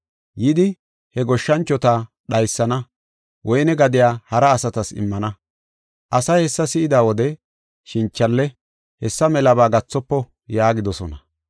Yidi he goshshanchota dhaysana, woyne gadiya hara asatas immana. Asay hessa si7ida wode ‘Shinchalle hessa melaba gathofo’ yaagidosona.